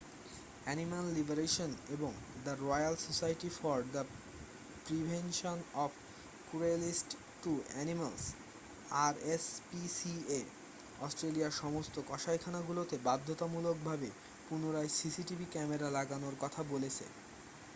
Animal liberation এবং the royal society for the prevention of cruelty to animals rspca অস্ট্রেলিয়ার সমস্ত কসাইখানাগুলোতে বাধ্যতামূলক ভাবে পুনরায় cctv ক্যামেরা লাগানোর কথা বলেছে।